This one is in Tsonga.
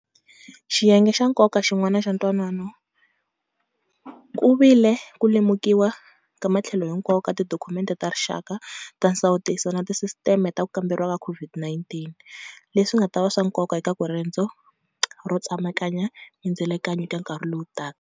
Xiyenge xa nkoka xin'wana xa ntwanano ku vi le ku lemukiwa ka matlhelo hinkwawo ka tidokhumente ta rixaka ta nsawutiso na tisisiteme ta ku kamberiwa ka COVID-19 - leswi nga ta va swa nkoka eka ku rendzo ro tsemakanya mindzilekano eka nkarhi lowu taka.